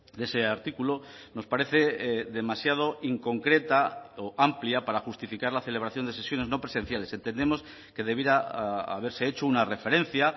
de ese artículo nos parece demasiado inconcreta o amplia para justificar la celebración de sesiones no presenciales entendemos que debiera haberse hecho una referencia